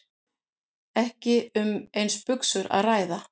Ekki um eins buxur að ræða